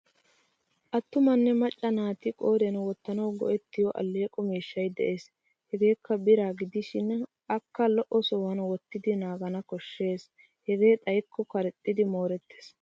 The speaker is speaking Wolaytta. Attumanne macca naati qooriyan wottanawu go'ettiyo alleeqo miishshay de'es. Hageekka biraa gidishin akka lo'o sohuwan wottidi naagana koshshes hegee xayikko karexxidi moorettes.